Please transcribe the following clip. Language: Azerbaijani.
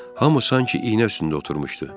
Hamı sanki iynə üstündə oturmuşdu.